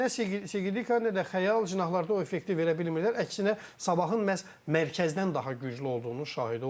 Amma nə Segi Dika, nə də Xəyal cinahlarda o effekti verə bilmirlər, əksinə Sabahın məhz mərkəzdən daha güclü olduğunun şahidi oldum.